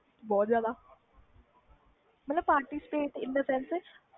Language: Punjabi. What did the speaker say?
ਬਹੁਤ ਜਿਆਦਾ ਮਤਬਲ participate